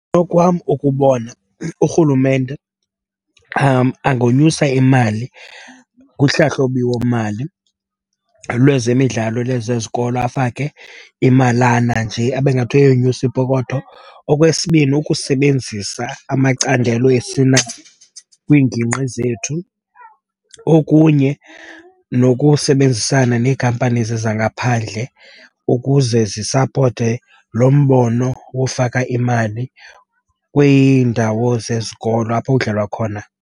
Okwam ukubona urhulumente angonyusa imali kuhlahlobiwomali lwezemidlalo lwezezikolo, afake imalana nje abe ngathi uyayonyusa ipokotho. Okwesibini, ukusebenzisa amacandelo esinawo kwiingingqi zethu. Okunye nokusebenzisana nee-companies zangaphandle ukuze zisapote lo mbono wofaka imali kwiindawo zezikolo apho kudlalwa khona.